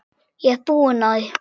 Ég er búin á því.